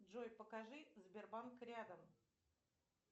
джой покажи сбербанк рядом